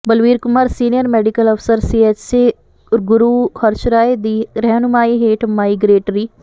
Balvir Kumar senior medical ਅਫਸਰ CHC Guruharsahai ਦੀ ਰਹਿਨੁਮਾਈ ਹੇਠ ਮਾਈਗ੍ਰੇਟਰੀ